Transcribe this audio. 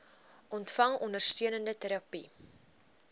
ontvang ondersteunende terapie